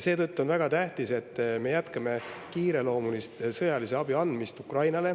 Seetõttu on väga tähtis, et me jätkame kiireloomulist sõjalise abi andmist Ukrainale.